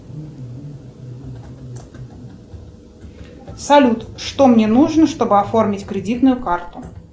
салют что мне нужно чтобы оформить кредитную карту